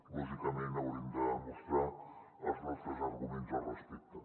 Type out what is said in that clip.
lògicament haurem de demostrar els nostres arguments al respecte